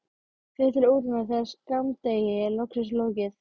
Fer til útlanda þegar skammdegi er loksins lokið.